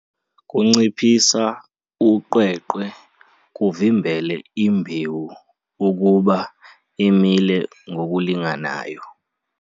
Kunciphisa uqweqwe kuvimbele imbewu ukuba imile ngokulingananyo.